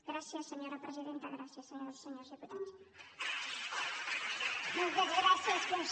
gràcies senyora presidenta gràcies senyores i senyors diputats